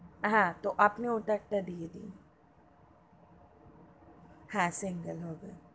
হা তো আপনি ওটা একটা দিয়ে দিন হা single হবে.